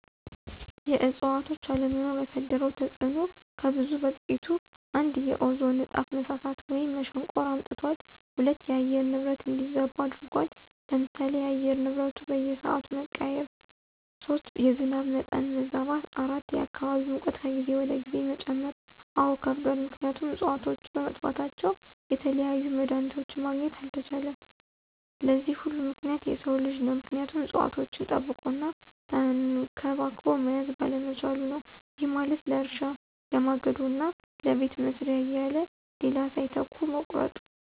የእዕፅዋቶች አለመኖር ያሳደረው ተፅዕኖ ከብዙ በጥቂቱ፦ ፩) የኦዞን ንጣፍ መሳሳት ወይም መሸንቆር አምጥቷል። ፪) የአየር ንብረት እንዲዛባ አድርጎታል። ለምሳሌ፦ የአየር ንብረቱ በየስዓቱ መቀያየር። ፫) የዝናብ መጠን መዛባት። ፬) የአካባቢ ሙቀት ከጊዜ ወደ ጊዜ መጨመር። አዎ ከብዷል ምክንያቱም እፅዋቶች በመጥፋታቸው የተለያዩ መድሀኒቶችን ማግኘት አልተቻለም። ለዚህ ሁሉ ምክንያት የሰው ልጅ ነው ምክንያቱም እፅዋቶችን ጠብቆ እና ተንከባክቦ መያዝ ባለመቻሉ ነው። ይህ ማለት ለእርሻ፣ ለማገዶ እና ለቤት መስሪያ እያለ ሌላ ሳይተካ መቁረጡ።